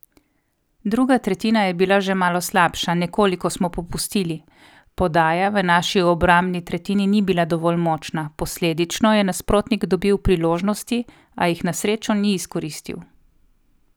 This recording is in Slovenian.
Druga tretjina je bila že malo slabša, nekoliko smo popustili, podaja v naši obrambni tretjini ni bila dovolj močna, posledično je nasprotnik dobil priložnosti, a jih na srečo ni izkoristil.